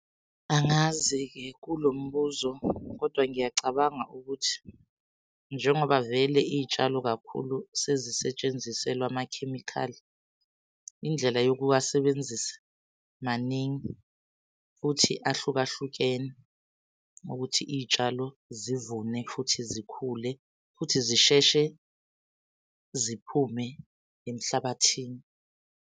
Angazi-ke kulo mbuzo kodwa ngiyacabanga ukuthi njengoba vele iy'tshalo kakhulu sezisetshenziselwa amakhemikhali, indlela yokuwasebenzisa maningi. Futhi ahlukahlukene ukuthi iy'tshalo zivune, futhi zikhule, futhi zisheshe ziphume emhlabathini.